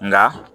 Nka